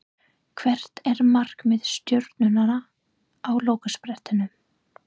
Hvert er markmið Stjörnunnar á lokasprettinum?